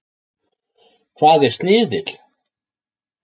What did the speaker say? Hvað er sniðill?